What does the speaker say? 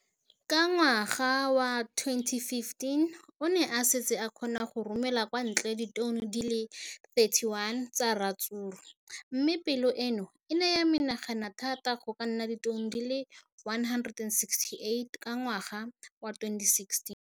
Ka ngwaga wa 2015, o ne a setse a kgona go romela kwa ntle ditone di le 31 tsa ratsuru mme palo eno e ne ya menagana thata go ka nna ditone di le 168 ka ngwaga wa 2016.